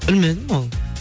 білмедім ол